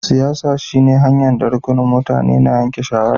Siyasa shine hanya'n da rukunin mutane na yanke shawara.